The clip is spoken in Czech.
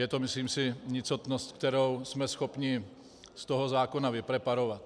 Je to, myslím si, nicotnost, kterou jsme schopni z toho zákona vypreparovat.